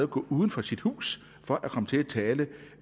gå uden for sit hus for at komme til at tale